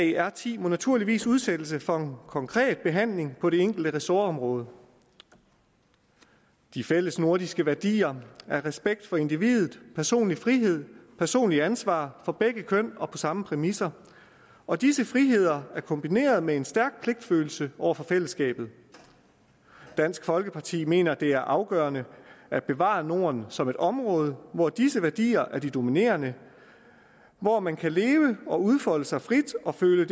i r ti må naturligvis udsættes for en konkret behandling på det enkelte ressortområde de fælles nordiske værdier er respekt for individet personlig frihed personligt ansvar for begge køn og på samme præmisser og disse friheder er kombineret med en stærk pligtfølelse over for fællesskabet dansk folkeparti mener at det er afgørende at bevare norden som et område hvor disse værdier er de dominerende og man kan leve og udfolde sig frit og føle